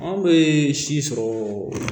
Anw bɛ si sɔrɔ